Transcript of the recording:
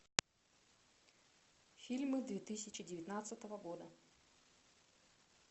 фильмы две тысячи девятнадцатого года